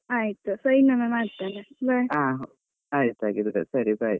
ಆಯ್ತು ಸರಿ, ಇನ್ನೊಮ್ಮೆ ಮಾಡ್ತೇನೆ. bye